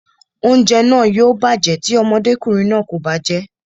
Oúnjẹ náà yóò bàjẹ́ tí ọmọdékùnrin náà kò bá jẹ́ẹ́